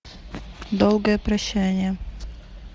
долгое прощание